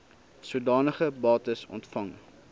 sodanige bates ontvang